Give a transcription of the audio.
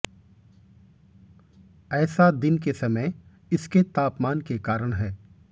ऐसा दिन के समय इसके तापमान के कारण है